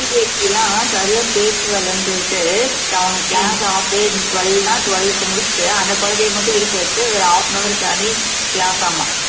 preKG சரியா பேச்சு வரலைன்னு சொல்லிட்டு அவங்க class half day twelve ன்னா twelve க்கு முடிச்சுட்டு அந்த குழந்தையை மட்டும் இருக்க வச்சு ஒரு half an hour தனி class ஆமாம்